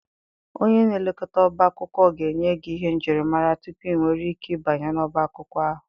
Onye na-elekọta ọbá akwụkwọ ga-enye gị ihe njirimara tupu ị nwere ike banye n'ọbá akwụkwọ ahụ.